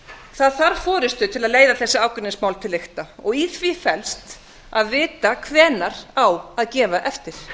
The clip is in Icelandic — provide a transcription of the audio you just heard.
það þarf forustu til að leiða þessi ágreiningsmál til lykta og í því felst að vita hvenær á að gefa eftir